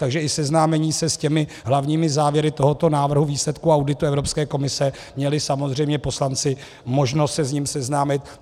Takže i seznámení se s těmi hlavními závěry tohoto návrhu výsledku auditu Evropské komise - měli samozřejmě poslanci možnost se s ním seznámit.